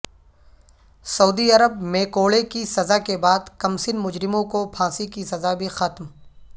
سعودی عرب میںکوڑے کی سزا کے بعد کمسن مجرموں کو پھانسی کی سزا بھی ختم